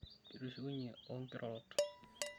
kitushukunye oo inkirorot